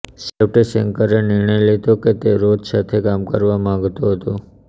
છેવટે શેન્કરે નિર્ણય લીધો કે તે રોથ સાથે કામ કરવા માગતો હતો